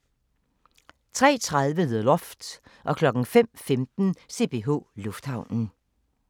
03:30: The Loft 05:15: CPH Lufthavnen